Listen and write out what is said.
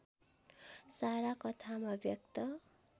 सारा कथामा व्यक्त